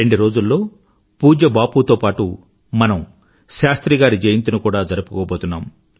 రెండు రోజుల్లో పూజ్య బాపు తో పాటూ మనం శాస్త్రి గారి జయంతిని కూడా జరుపుకోబోతున్నాం